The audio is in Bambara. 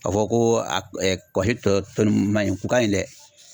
Ka fɔ ko a kaba si tɔ tɔ ninnu man ɲi, u ka ɲi dɛ .